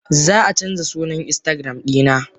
Zaa canja sunan instagram dina.